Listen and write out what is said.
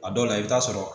A dɔw la i bɛ taa sɔrɔ